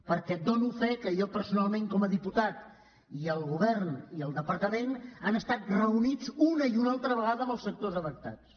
perquè dono fe que jo personalment com a diputat i el govern i el departament hem estat reunits una i una altra vegada amb els sectors afectats